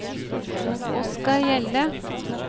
Oskar Hjelle